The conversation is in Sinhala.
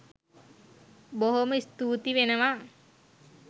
බොහෝම ස්තූති වෙනවා.